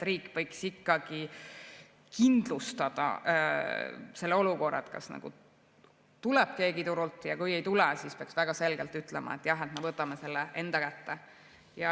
Riik võiks ikkagi kindlustada selle olukorra, et kas tuleb keegi turult, ja kui ei tule, siis peaks väga selgelt ütlema, et jah, me võtame selle enda kätte.